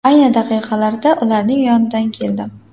Ayni daqiqalarda ularning yonidan keldim.